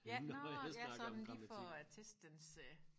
ja nå ja sådan lige for at testen dens øh